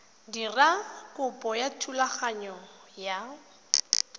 dira kopo ya thulaganyo ya